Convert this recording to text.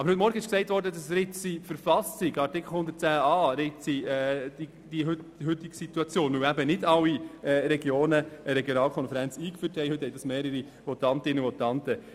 Aber heute Morgen ist von mehreren Votantinnen und Votanten erwähnt worden, dass die heutige Situation an Artikel 110 Buchstabe a der Verfassung des Kantons Bern (KV) ritze, weil nicht alle Regionen eine Regionalkonferenz eingeführt haben.